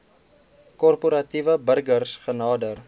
korporatiewe burgers genader